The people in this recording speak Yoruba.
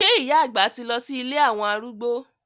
Sé ìyá àgbà ti lọ sí ilé àwọn arúgbó?